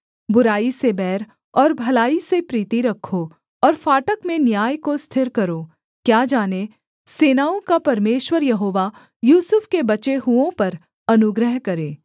बुराई से बैर और भलाई से प्रीति रखो और फाटक में न्याय को स्थिर करो क्या जाने सेनाओं का परमेश्वर यहोवा यूसुफ के बचे हुओं पर अनुग्रह करे